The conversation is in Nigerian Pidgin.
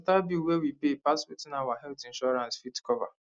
hospital bill wey we pay pass wetin our health insurance fit cover